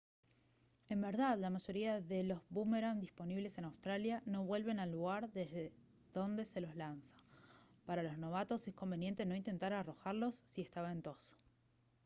en verdad la mayoría de los búmeran disponibles en australia no vuelven al lugar desde donde se los lanza para los novatos es conveniente no intentar arrojarlos si está ventoso